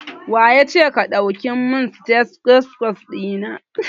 Waye yace ka dauki stethoscope din nan?